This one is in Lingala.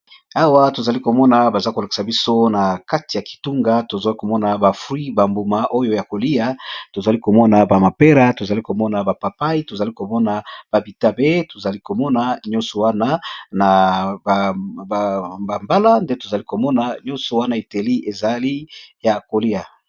awa tozali komona baza kolakisa biso na kati ya kitunga tozali komona bafui bambuma oyo ya kolia tozali komona bamapera tozali komona bapapai tozali komona babitape tozali komona nyonso wana na bambala nde tozali komona nyonso wana itelie ezali ya kolia